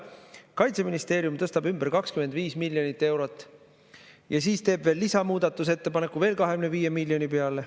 Samal ajal Kaitseministeerium tõstab ümber 25 miljonit eurot ja teeb veel lisamuudatusettepaneku 25 miljoni peale.